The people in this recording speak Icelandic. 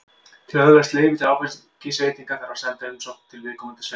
Til að öðlast leyfi til áfengisveitinga þarf að senda umsókn til viðkomandi sveitarfélags.